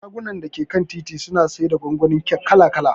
Shagon dake kan titi suna siyarda gwangwanin kek kala kala.